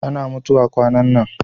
ana mutuwa kwanan nan